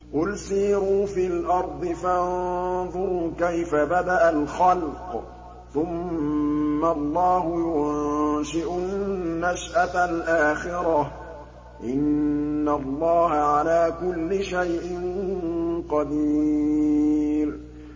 قُلْ سِيرُوا فِي الْأَرْضِ فَانظُرُوا كَيْفَ بَدَأَ الْخَلْقَ ۚ ثُمَّ اللَّهُ يُنشِئُ النَّشْأَةَ الْآخِرَةَ ۚ إِنَّ اللَّهَ عَلَىٰ كُلِّ شَيْءٍ قَدِيرٌ